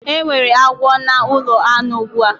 Enwere agwo na ulo anu ugbu a